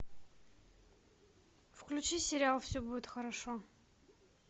включи сериал все будет хорошо